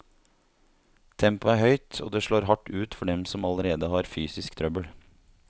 Tempoet er høyt, og det slår hardt ut for dem som allerede har fysisk trøbbel.